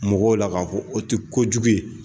Mɔgɔw la k'a fɔ o tɛ kojugu ye.